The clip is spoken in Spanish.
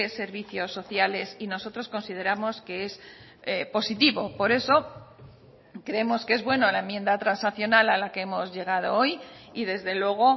servicios sociales y nosotros consideramos que es positivo por eso creemos que es bueno la enmienda transaccional a la que hemos llegado hoy y desde luego